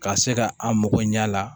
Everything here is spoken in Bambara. Ka se ka an mago ɲɛ a la